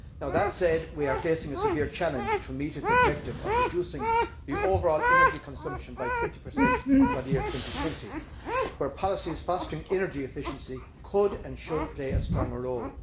That said, we are facing a severe challenge to meeting the objective of reducing the overall energy consumption by 20 by 2020, where policies fostering energy efficiency could and should play a stronger role.